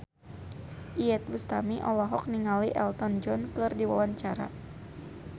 Iyeth Bustami olohok ningali Elton John keur diwawancara